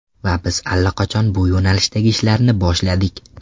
Va biz allaqachon bu yo‘nalishdagi ishlarni boshladik.